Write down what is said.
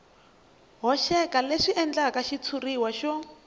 hoxeka leswi endlaka xitshuriwa xo